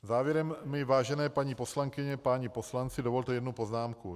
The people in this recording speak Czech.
Závěrem mi, vážené paní poslankyně, páni poslanci, dovolte jednu poznámku.